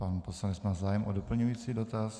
Pan poslanec má zájem o doplňující dotaz.